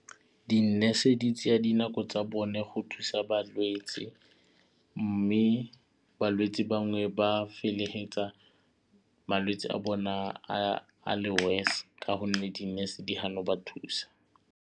Di-nurse di tseya dinako tsa bone go thusa balwetsi mme balwetsi bangwe ba feleletsa malwetsi a bona a le worse ka gonne di-nurse di gana go ba thusa.